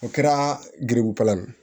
O kɛra gribu filan ye